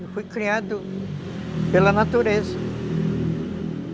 Eu fui criado pela natureza.